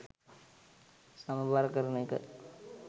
සමබර කරන එක